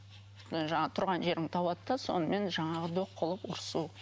жаңағы тұрған жерімді табады да сонымен жаңағы қол ұрысу